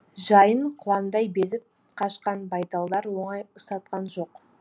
жайын құландай безіп қашқан байталдар оңай ұстатқан жоқ